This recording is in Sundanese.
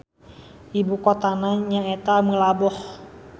Ibu kotana nyaeta Meulaboh.